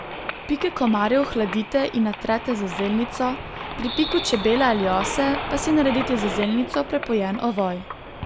Pike komarjev hladite in natrete z zelnico, pri piku čebele ali ose pa si naredite z zelnico prepojen ovoj.